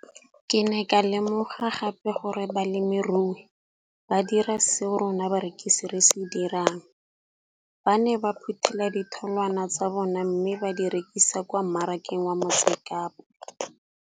Ke ne ka lemoga gape gore balemirui ba dira seo rona barekisi re se dirang, ba ne ba phuthela ditholwana tsa bona mme ba di rekisa kwa marakeng wa Motsekapa.